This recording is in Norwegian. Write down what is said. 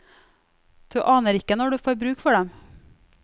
Du aner ikke når du får bruk for dem.